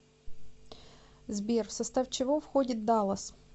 сбер в состав чего входит даллас